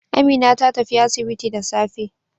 Amina ta tafi asibiti da safe.